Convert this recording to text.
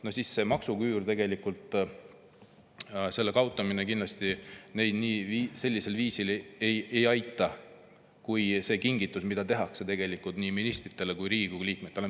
Tegelikult maksuküüru kaotamine neid kindlasti sellisel viisil ei aita kui see kingitus, mis tehakse nii ministritele kui Riigikogu liikmetele.